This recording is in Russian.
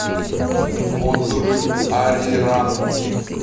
отзывы ариран